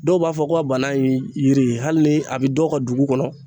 Dɔw b'a fɔ ko a bana in yiri hali ni a bɛ dɔw ka dugu kɔnɔ.